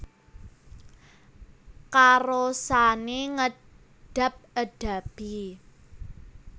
Karosane ngedab edabi